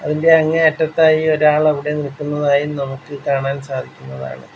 അതിന്റെ അങ്ങേ അറ്റത്തായി ഒരാൾ അവിടെ നിൽക്കുന്നതായും നമുക്ക് കാണാൻ സാധിക്കുന്നതാണ്.